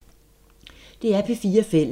DR P4 Fælles